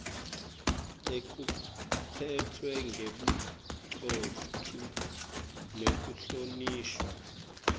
lekuphatfwa ngebucotfo nekuhlonishwa